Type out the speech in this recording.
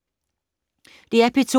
DR P2